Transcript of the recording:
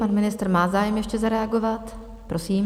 Pan ministr má zájem ještě zareagovat, prosím.